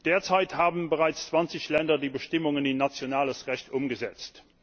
Derzeit haben bereits 20 Länder die Bestimmungen in nationales Recht umgesetzt.